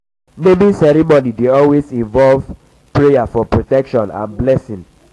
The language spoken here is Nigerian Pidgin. um naming ceremony dey always involve always involve prayer for protection and blessing